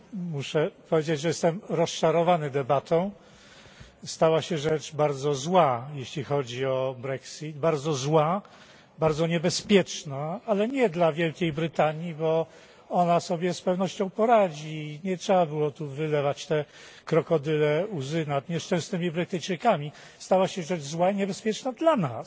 Muszę powiedzieć, że jestem rozczarowany debatą. Stała się rzecz bardzo zła, jeśli chodzi o Brexit, bardzo zła, bardzo niebezpieczna, ale nie dla Wielkiej Brytanii, bo ona sobie z pewnością poradzi i nie trzeba było tu wylewać tych krokodylich łez nad nieszczęsnymi Brytyjczykami. Stała się rzecz zła i niebezpieczna dla nas,